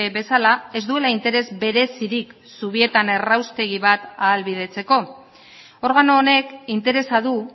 bezala ez duela interes berezirik zubietan erraustegi bat ahalbidetzeko organo honek interesa du